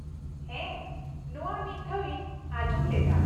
ᱦᱮᱸ, ᱱᱚᱶᱟ ᱢᱤᱫ ᱫᱷᱟᱣ ᱤᱧ ᱟᱸᱡᱚᱢ ᱞᱮᱫᱟ ᱾